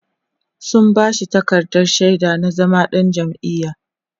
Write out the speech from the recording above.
sun bashi takardar shaida na zama ɗan jam'iya